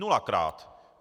Nulakrát.